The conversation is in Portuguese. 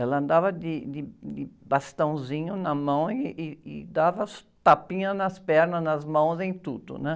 Ela andava de, de, de bastãozinho na mão ih, ih, e dava tapinha nas pernas, nas mãos, em tudo.